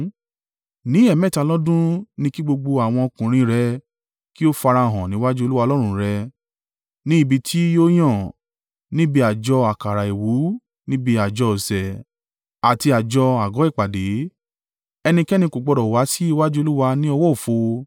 Ní ẹ̀ẹ̀mẹ́ta lọ́dún ni kí gbogbo àwọn ọkùnrin rẹ kí ó farahàn níwájú Olúwa Ọlọ́run rẹ̀, ní ibi tí yóò yàn. Níbi àjọ àkàrà àìwú, níbi àjọ ọ̀sẹ̀, àti àjọ àgọ́ ìpàdé. Ẹnikẹ́ni kò gbọdọ̀ wá sí iwájú Olúwa ní ọwọ́ òfo.